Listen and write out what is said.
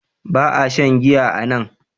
Ba a shan giya a nan.